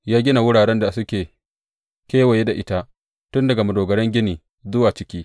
Ya gina wuraren da suke kewaye da ita, tun daga madogaran gini zuwa ciki.